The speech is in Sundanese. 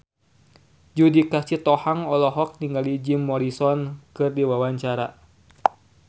Judika Sitohang olohok ningali Jim Morrison keur diwawancara